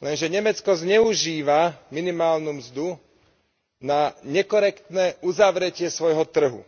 Lenže Nemecko zneužíva minimálnu mzdu na nekorektné uzavretie svojho trhu